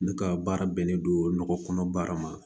Ne ka baara bɛnnen don nɔgɔ kɔnɔ baara ma